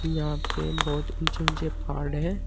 यहां पे बहोत ऊंचे ऊंचे पहाड़ है।